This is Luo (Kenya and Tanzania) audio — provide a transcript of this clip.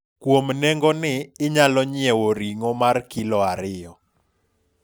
kuom nengo ni, inyalo nyiewo ring'o mar kilo ariyo